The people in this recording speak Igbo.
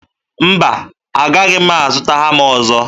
Mba, agahị m azụta hama ọzọ.